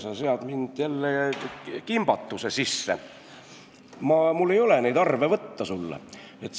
Sa sead mind jälle kimbatuse sisse, mul ei ole neid arve sulle võtta.